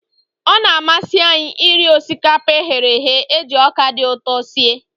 Ọ na-amasị anyị iri osikapa e ghere eghe e ji ọka dị ụtọ sie.